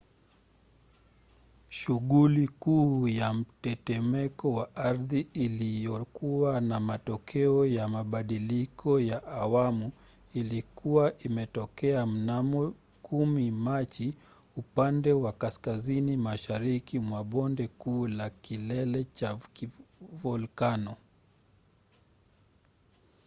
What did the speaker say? shughuli kuu ya mtetemeko wa ardhi iliyokuwa na matokeo ya mbadiliko wa awamu ilikuwa imetokea mnamo 10 machi upande wa kaskazini mashariki mwa bonde kuu la kilele cha volikano